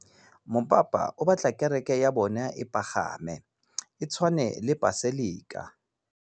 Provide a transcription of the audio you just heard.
Mopapa o batla kereke ya bone e pagame, e tshwane le paselika.